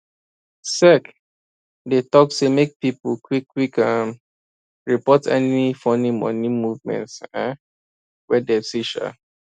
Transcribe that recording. sec dey talk say make pipo quickquick um report any funny money movement um wey dem see um